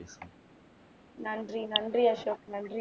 நன்றி நன்றி அசோக் நன்றி